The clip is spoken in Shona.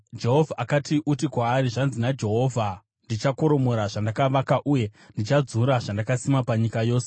Jehovha akati, “Uti kwaari, ‘Zvanzi naJehovha: Ndichakoromora zvandakavaka uye ndichadzura zvandakasima panyika yose.